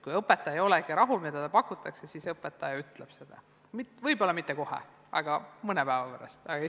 Kui ikka õpetaja ei ole rahul sellega, mida talle pakutakse, siis õpetaja ütleb seda, võib-olla mitte kohe, aga mõne päeva pärast kindlasti.